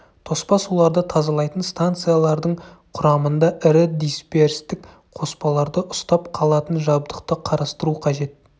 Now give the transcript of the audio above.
тоспа суларды тазалайтын станциялардың құрамында ірі дисперстік қоспаларды ұстап қалатын жабдықты қарастыру қажет